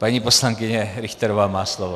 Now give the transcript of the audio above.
Paní poslankyně Richterová má slovo.